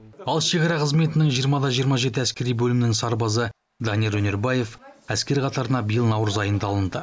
ал шекара қызметінің жиырма да жиырма жеті әскери бөлімінің сарбазы данияр өнербаев әскер қатарына биыл наурыз айында алынды